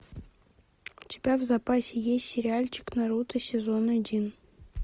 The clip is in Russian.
у тебя в запасе есть сериальчик наруто сезон один